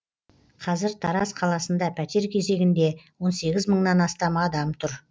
қазір тараз қаласында пәтер кезегінде он сегіз мыңнан астам адам тұр